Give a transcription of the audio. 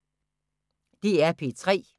DR P3